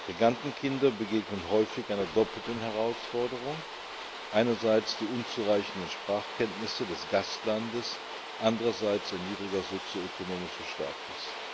Migrantenkinder begegnen häufig einer doppelten Herausforderung einerseits die unzureichenden Sprachkenntnisse des Gastlandes, andererseits ein niedriger sozioökonomischer Status.